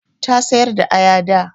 Ta sayar da aya da.